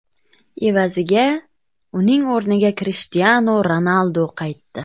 Evaziga, uning o‘rniga Krishtianu Ronaldu qaytdi.